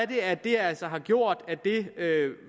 de at det altså